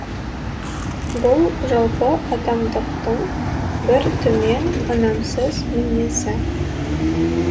бұл жалпы адамдықтың бір төмен ұнамсыз мінезі